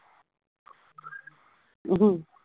ਅਹ